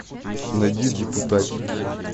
найди депутатики